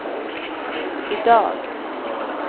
idag